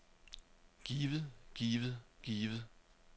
givet givet givet